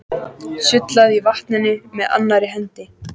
Sullaði í vatninu með annarri hendi.